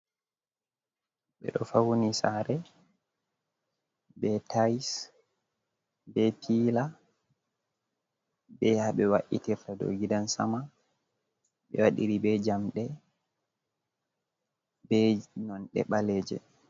Ɓeɗo fauni sare ɓe tais ɓe pila ɓe habé wa’itirta dou gidan sama ɓe wadiri ɓe jamde ɓe nonɗe baleje.